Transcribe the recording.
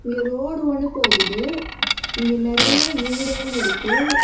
இங்க ரோடு ஒன்னு போகுது இங்க நெறைய வீடுகள் இருக்கு.